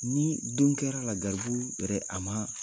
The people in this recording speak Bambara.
Ni don kɛra la garibu yɛrɛ a ma